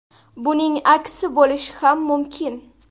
Buning aksi bo‘lishi ham mumkin.